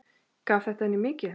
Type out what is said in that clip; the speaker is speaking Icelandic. Gaf þetta henni mikið.